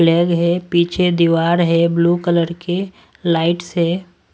Flag है पीछे दीवार है ब्लू कलर के लाइट्स है।